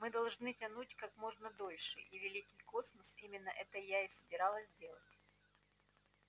мы должны тянуть как можно дольше и великий космос именно это я и собиралась делать